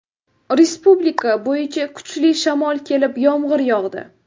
Respublika bo‘yicha kuchli shamol kelib , yomg‘ir yog‘di.